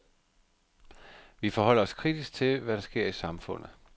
Vi forholder os kritisk til, hvad der sker i samfundet.